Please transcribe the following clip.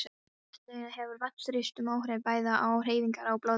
Í setlaugum hefur vatnsþrýstingur áhrif bæði á hreyfingar og blóðrás.